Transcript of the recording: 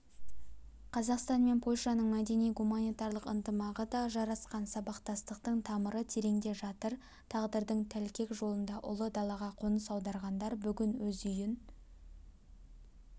қазақстан мен польшаның мәдени-гуманитарлық ынтымағы да жарасқан сабақтастықтың тамыры тереңде жатыр тағдырдың тәлкек жолында ұлы далаға қоныс аударғандар бүгін өз үйін